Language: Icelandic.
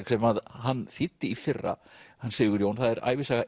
Zweig sem hann þýddi í fyrra hann Sigurjón það er ævisaga